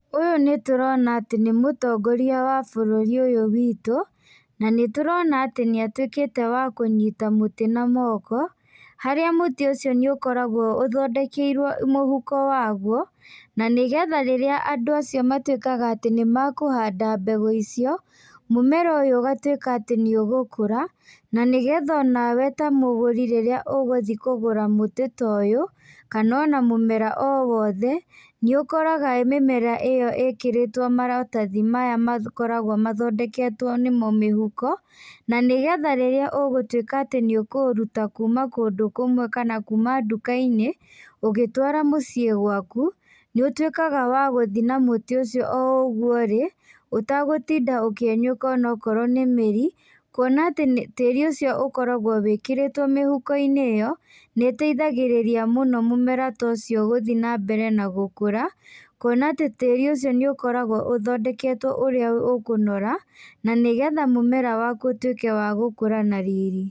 Ũyũ nĩ tũrona atĩ nĩ mũtongoria wa bũrũri ũyũ witũ, na nĩtũrona atĩ nĩatwĩkite wa kũnyita mũtĩ na moko, harĩa mũtĩ ũcio nĩũkoragwo ũthondekeirwo mũhũko wagũo na nĩgetha rĩrĩa andũ acio matwĩkaga atĩ nĩmakũhanda mbegũ icio mũmera ũyũ ũgatwĩka atĩ nĩũgũkũra nĩgetha onawe ta mũgũri rĩrĩa ũgũthíiĩ kũgũra mũtĩ ta ũyũ kana ona mũmera o wothe nĩũkoraga mĩmera iyo ĩkĩrĩtwo maratathi maya makoragwo mathondeketwo nĩmo mĩhũko na nĩgetha rĩrĩa ũgũtwĩka atĩ nĩũkũũrũta kũma kũndũ kũmwe kana kũma ndũka-inĩ ũgĩtwara mũciĩ gwaku nĩũtwĩkaga wa gũthiĩ na mũtĩ ũcio oũgũo ũrĩ ũtagũtinda ũkĩenyũka okorwo nĩ mĩri kũona atĩ tĩti ucio ũkoragwo wĩkĩrĩtwo mĩhũko-inĩ iyo nĩteithagĩrĩria mũno mũmera ta ũcio gũthiĩ na mbere na gũkũra, kũona atĩ tĩri ũcio nĩũkoragwo ũthondeketwo ũrĩa ũkũnora na nĩgetha mũmera waku ũtuĩke wagũkũra na riri.